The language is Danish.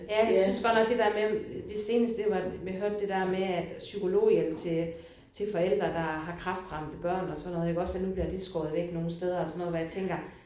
Ja jeg synes godt nok det der med det seneste det var jeg hørte det der med at psykologhjælp til til forældre der har kræftramte børn og sådan iggås at nu bliver det skåret væk nogle steder og sådan noget hvor jeg tænker